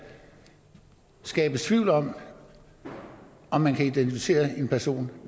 skabes tvivl om om man kan identificere en person